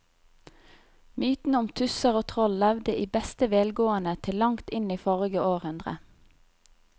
Mytene om tusser og troll levde i beste velgående til langt inn i forrige århundre.